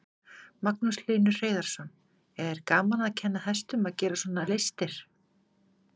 Magnús Hlynur Hreiðarsson: Er gaman að kenna hestum að gera svona listir?